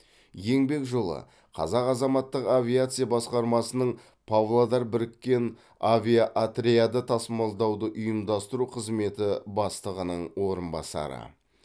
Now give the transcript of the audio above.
еңбек жолы қазақ азаматтық авиация басқармасының павлодар біріккен авиаотряды тасымалдауды ұйымдастыру қызметі бастығының орынбасары